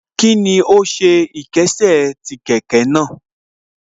Kíni ó ṣe ìkésè sí kẹ̀kẹ́ náà